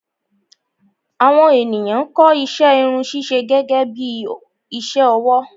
Àwọn ènìyàn ń kọ́ iṣẹ́ Irun ṣíṣe gẹ́gẹ́bí iṣẹ́ ọwọ́